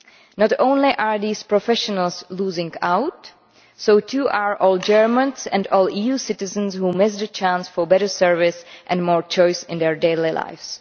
Not only are these professionals losing out, so too are all Germans and all EU citizens who have missed a chance for better service and more choice in their daily lives.